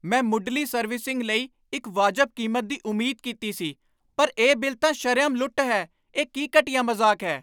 ਮੈਂ ਮੁੱਢਲੀ ਸਰਵਿਸਿੰਗ ਲਈ ਇੱਕ ਵਾਜਬ ਕੀਮਤ ਦੀ ਉਮੀਦ ਕੀਤੀ ਸੀ, ਪਰ ਇਹ ਬਿੱਲ ਤਾਂ ਸ਼ਰੇਆਮ ਲੁੱਟ ਹੈ! ਇਹ ਕੀ ਘਟੀਆ ਮਜ਼ਾਕ ਹੈ?